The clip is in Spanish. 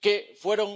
que fueron